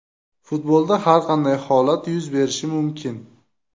Futbolda har qanday holat yuz berishi mumkin.